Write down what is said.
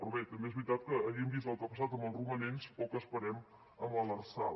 però bé també és veritat que havent vist el que ha passat amb els romanents poc esperem amb l’lrsal